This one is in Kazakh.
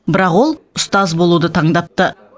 бірақ ол ұстаз болуды таңдапты